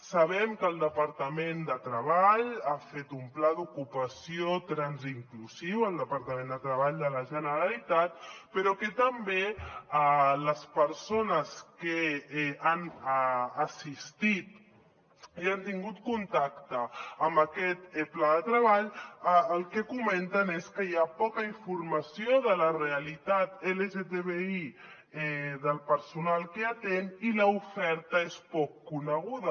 sabem que el departament de treball ha fet un pla d’ocupació transinclusiu el departament de treball de la generalitat però també que les persones que han assistit i han tingut contacte amb aquest pla de treball el que comenten és que hi ha poca informació de la realitat lgtbi del personal que atén i l’oferta és poc coneguda